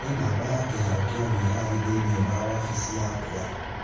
nĩ namba ya kĩharo kĩa wĩyathi thĩinĩ wa wabici yakwa.